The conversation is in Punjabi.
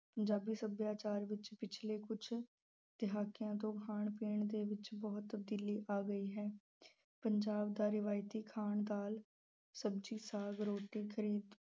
ਪੰਜਾਬੀ ਸੱਭਿਆਚਾਰ ਵਿੱਚ ਪਿਛਲੇ ਕੁਝ ਦਹਾਕਿਆਂ ਤੋਂ ਖਾਣ ਪੀਣ ਦੇ ਵਿੱਚ ਬਹੁਤ ਤਬਦੀਲੀ ਆ ਗਈ ਹੈ। ਪੰਜਾਬ ਦਾ ਰਵਾਇਤੀ ਖਾਣ ਦਾਲ, ਸਬਜੀ, ਸਾਗ, ਰੋਟੀ